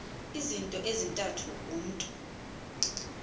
izinto ezintathu umntu